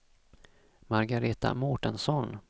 Margareta Mårtensson